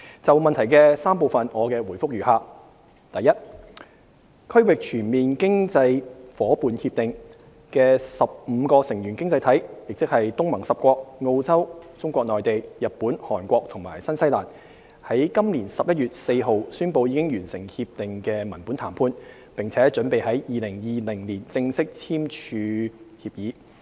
就質詢的3個部分，我的答覆如下：一《區域全面經濟伙伴協定》的15個成員經濟體，即東南亞國家聯盟10國、澳洲、中國內地、日本、韓國和新西蘭，於今年11月4日宣布已完成《協定》的文本談判，並準備在2020年正式簽署協議。